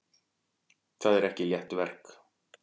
Það er ekki létt verk.